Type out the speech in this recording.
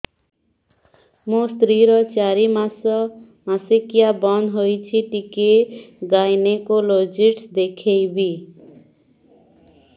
ମୋ ସ୍ତ୍ରୀ ର ଚାରି ମାସ ମାସିକିଆ ବନ୍ଦ ହେଇଛି ଟିକେ ଗାଇନେକୋଲୋଜିଷ୍ଟ ଦେଖେଇବି